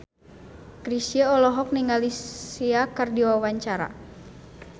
Chrisye olohok ningali Sia keur diwawancara